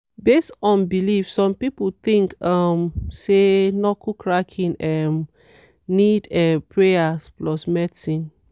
based on belief some people think um say knuckle cracking um need um prayer plus medicine.